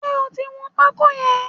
Ṣé o ti wọn pákó yẹn?